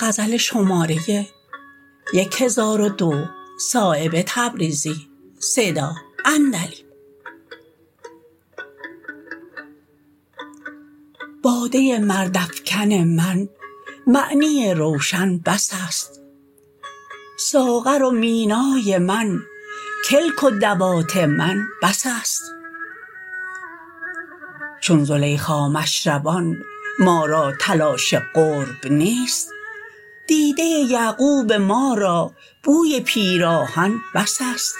باده مرد افکن من معنی روشن بس است ساغر و مینای من کلک و دوات من بس است چون زلیخا مشربان ما را تلاش قرب نیست دیده یعقوب ما را بوی پیراهن بس است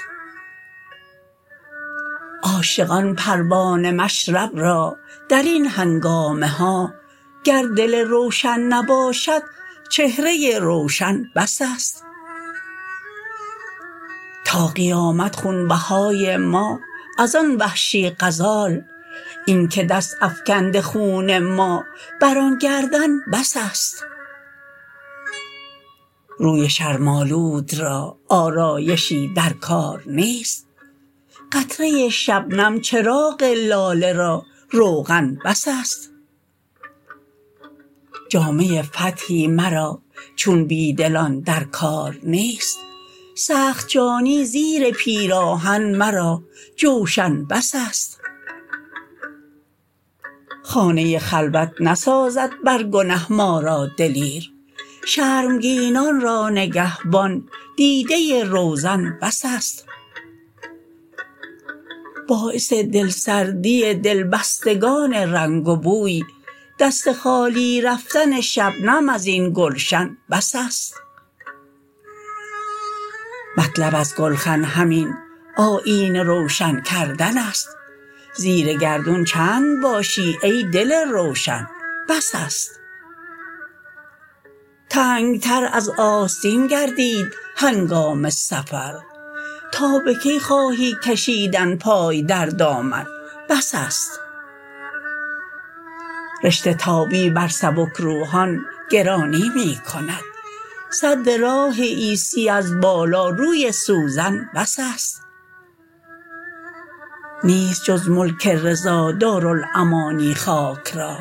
عاشقان پروانه مشرب را درین هنگامه ها گر دل روشن نباشد چهره روشن بس است تا قیامت خونبهای ما ازان وحشی غزال این که دست افکنده خون ما بر آن گردن بس است روی شرم آلود را آرایشی در کار نیست قطره شبنم چراغ لاله را روغن بس است جامه فتحی مرا چون بیدلان در کار نیست سخت جانی زیر پیراهن مرا جوشن بس است خانه خلوت نسازد بر گنه ما را دلیر شرمگینان را نگهبان دیده روزن بس است باعث دلسردی دلبستگان رنگ و بوی دست خالی رفتن شبنم ازین گلشن بس است مطلب از گلخن همین آیینه روشن کردن است زیر گردون چند باشی ای دل روشن بس است تنگتر از آستین گردید هنگام سفر تا به کی خواهی کشیدن پای در دامن بس است رشته تابی بر سبکروحان گرانی می کند سد راه عیسی از بالا روی سوزن بس است نیست جز ملک رضا دارالامانی خاک را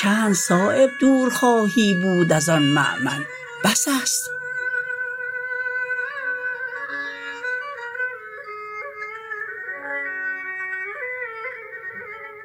چند صایب دور خواهی بود ازان مأمن بس است